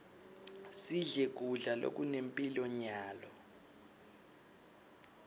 sidle kudla lokunemphilo nyalo